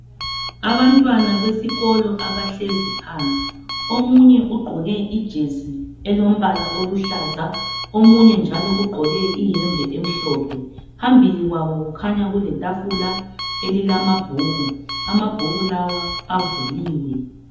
Abantwana besikolo abahlezi phansi. Omunye ugqoke ijesi elombala oluhlaza, omunye njalo ugqoke iyembe emhlophe . Phambili kwabo kukhanya kuletafula elilamabhuku, amabhuku lawa avuliwe.